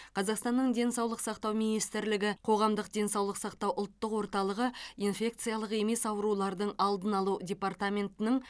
қазақстанның денсаулық сақтау министрлігі қоғамдық денсаулық сақтау ұлттық орталығы инфекциялық емес аурулардың алдын алу департаментінің